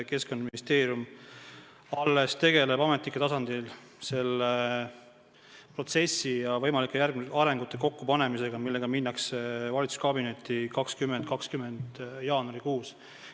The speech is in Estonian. Keskkonnaministeerium alles tegeleb ametnike tasandil selle protsessi ja võimalike arengute kokkupanemisega, millega minnakse valitsuskabinetti 2020. aasta jaanuarikuus.